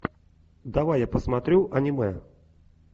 давай я посмотрю аниме